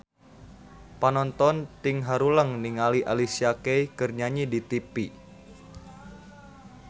Panonton ting haruleng ningali Alicia Keys keur nyanyi di tipi